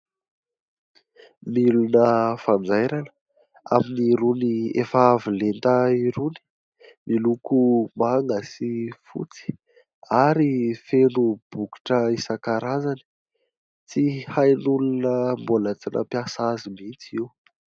Milina fanjairana amin'ny irony efa avolenta irony. Miloko manga sy fotsy ary feno bokotra isankarazany. Tsy hain'olona mbola tsy nampiasa azy mihitsy io.